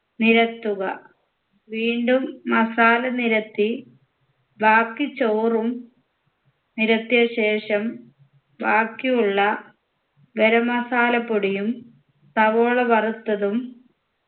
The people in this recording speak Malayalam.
നിരത്തുക വീണ്ടും masala നിരത്തി ബാക്കി ചോറും നിരത്തിയ ശേഷം ബാക്കിയുള്ള ഗരം masala പൊടിയും സവോള വറുത്തതും